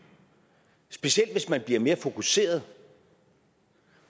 specielt hvis man bliver mere fokuseret